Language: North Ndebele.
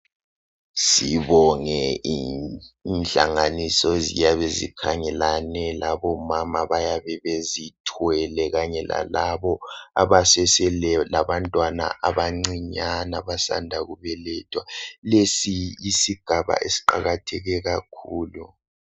Sibonge inhlanganiso eziyabe zikhangelane labomama bayabezithweleyo kanye lalabo abasese labantwana abacinyane abasanda kubelethwa, lesi yisigaba esiqakathe kakhulu.